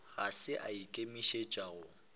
ga se a ikemišetša go